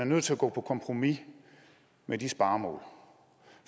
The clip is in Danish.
nødt til at gå på kompromis med de sparemål